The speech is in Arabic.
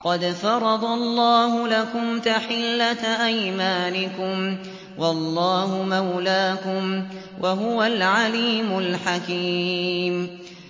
قَدْ فَرَضَ اللَّهُ لَكُمْ تَحِلَّةَ أَيْمَانِكُمْ ۚ وَاللَّهُ مَوْلَاكُمْ ۖ وَهُوَ الْعَلِيمُ الْحَكِيمُ